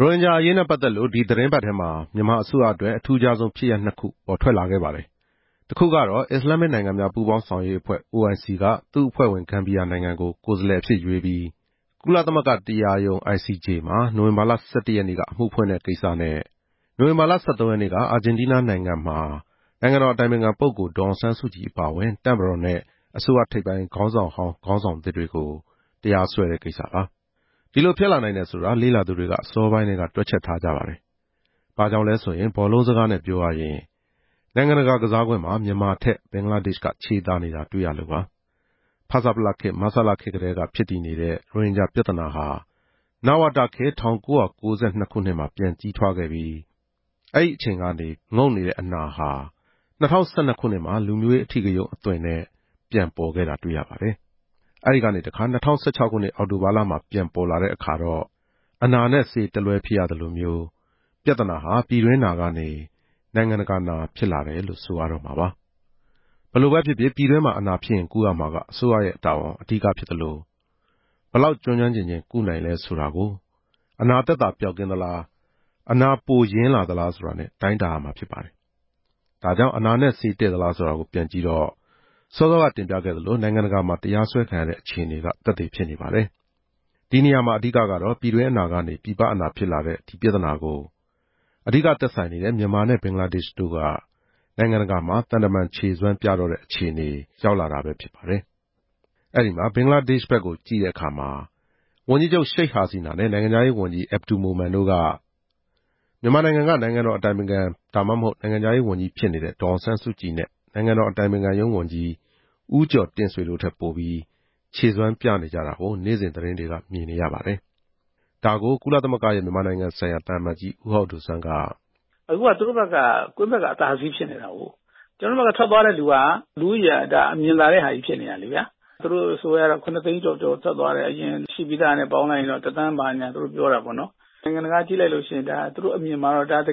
ရိုဟင်ဂျာအရေးနဲ့ပတ်သက်လို့ ဒီသီတင်းပတ်ထဲမှာ မြန်မာအစိုးရအတွက်အထူးခြားဆုံး ဖြစ်ရပ်နှစ်ခု ပေါ်ထွက်လာခဲ့ပါတယ်။ တခုကတော့ အစ္စလာမ်မစ်နိုင်ငံများ ပူးပေါင်းဆောင်ရွက်ရေးအဖွဲ့ (OIC) က သူ့အဖွဲ့ဝင် ဂမ်ဘီယာနိုင်ငံကို ကိုယ်စားလှယ်အဖြစ်ရွေးပြီး ကုလသမဂ္ဂတရားရုံး ICJ မှာ နိုဝင်ဘာလ (၁၁) ရက်နေ့က အမှုဖွင့်တဲ့ကိစ္စနဲ့၊ နိုင်ငံတော်အတိုင်ပင်ခံပုဂ္ဂိုလ် ဒေါ်အောင်ဆန်းစုကြည် အပါအဝင်၊ တပ်မတော်နဲ့ အစိုးရထိပ်ပိုင်း ခေါင်းဆောင်ဟောင်း၊ ခေါင်းဆောင်သစ်တွေကို အာဂျင်တီးနားနိုင်ငံမှာ နိုဝင်ဘာလ (၁၃) ရက်နေ့က တရားစွဲတဲ့ကိစ္စပါ။ ဒီလိုဖြစ်လာနိုင်တယ်ဆိုတာကို လေ့လာသူတွေက အစောပိုင်းကတည်းက တွက်ချက်ထားကြပါတယ်။ ဘာကြောင့်လဲဆိုရင် ဘောလုံးစကားနဲ့ပြောရရင် နိုင်ငံတကာကစားကွင်းမှာ မြန်မာထက် ဘင်္ဂလားဒေ့ရှ်က ခြေသာနေတာ တွေ့ရလို့ပါ။ ဖဆပလခေတ်၊ မဆလခေတ်ကတည်းက ဖြစ်တည်နေတဲ့ ရိုဟင်ဂျာပြဿနာဟာ နဝတခေတ် ၁၉၉၂ ခုနှစ်မှာ ပြန်ကြီးထွားခဲ့ပြီး၊ အဲဒီအချိန်ကနေ ငုတ်နေတဲ့အနာဟာ ၂၀၁၂ ခုနှစ်မှာ လူမျိုးရေးအဓိကရုဏ်းအသွင်နဲ့ ပြန်ပေါ်ခဲ့တာ တွေ့ရပါတယ်။ အဲဒီကနေ ၂ဝ၁၆ ခုနှစ် အောက်တိုဘာလမှာ ပြန်ပေါ်လာတဲ့ အခါမှာတော့ အနာနဲ့ဆေး တလွဲဖြစ်ရသလိုမျိုး၊ ပြဿနာဟာ “ပြည်တွင်းနာ” ကနေ “နိုင်ငံတကာနာ” ဖြစ်လာတယ်လို့ ဆိုရတော့မှာပါ။ ဘယ်လိုပဲဖြစ်ဖြစ် ပြည်တွင်းမှာအနာဖြစ်ရင် ကုရမှာ အစိုးရရဲ့တာဝန်ဖြစ်သလို၊ ဘယ်လောက် ကျွမ်းကျွမ်းကျင်ကျင် ကုနိုင်လဲဆိုတာကို အနာသက်သာပျောက်ကင်းလာလား၊ အနာပို “ရင်း”လာသလား ဆိုတာနဲ့ တိုင်းတာရမှာဖြစ်ပါတယ်။ ဒါကြောင့် အနာနဲ့ဆေးတဲ့ရဲ့လား ဆိုတာကို ပြန်ကြည့်တော့ စောစောကတင်ပြခဲ့သလို နိုင်ငံတကာမှာ တရားစွဲခံရတဲ့ အခြေအနေက သက်သေဖြစ်နေပါတယ်။ ဒီနေရာမှာ ပြည်တွင်းအနာကနေ ပြည်ပအနာဖြစ်လာတဲ့ ဒီပြဿနာကို အဓိက သက်ဆိုင်နေတဲ့ မြန်မာနဲ့ ဘင်္ဂလားဒေ့ရှ်တို့က နိုင်ငံတကာမှာ သံတမန်ခြေစွမ်း ပြကြတဲ့ အခြေအနေ ရောက်လာတာပဲ ဖြစ်ပါတယ်။ အဲဒီမှာ ဘင်္ဂလားဒေ့ရှ်ဘက်ကို ကြည့်တဲ့အခါ ဝန်ကြီးချုပ် ရှိတ်ဟာဆီနာနဲ့ နိုင်ငံခြားရေးဝန်ကြီး အက်ဗ်ဒူမိုမန်တို့က မြန်မာနိုင်ငံတော်အတိုင်ပင်ခံ ဒါမှမဟုတ် နိုင်ငံခြားရေးဝန်ကြီး ဖြစ်နေတဲ့ ဒေါ်အောင်ဆန်းစုကြည်နဲ့ နိုင်ငံတော်အတိုင်ပင်ခံရုံးဝန်ကြီး ဦးကျော်တင့်ဆွေတို့ထက် ပိုပြီး ခြေစွမ်းပြနေ ကြတာကို နေ့စဉ်သတင်းတွေမှာ တွေ့မြင်နေရပါတယ်။ ဒါကို ကုလသမဂ္ဂရဲ့ မြန်မာနိုင်ငံဆိုင်ရာ သံအမတ်ကြီး ဦးဟောက်ဒိုစွမ်းက... “အခုကသူတို့ဘက်က ကွင်းဘက်ကအသာစီးဖြစ်နေတာကိုး။ ကျနော်တို့ဘက်ကထွက်သွားတဲ့ လူဦးရေ ကမြင်သာတဲ့ဟာကြီးဖြစ်နေတယ်လေဗျာ။ သူတို့အစိုးရကတော့ ၇ သိန်းကျော်ကျော် ထွက်သွားတယ် အရင်ရှိပြီးသားနဲ့ဆို တသန်းကျော်တယ်လို့ပြောတယ်။ နိုင်ငံတကာကြည့်လိုက်ရင် ဒါက တ